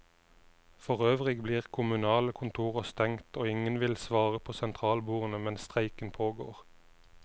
Forøvrig blir kommunale kontorer stengt og ingen vil svare på sentralbordene mens streiken pågår.